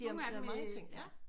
De har lavet mange ting ja